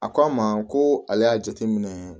A ko an ma ko ale y'a jateminɛ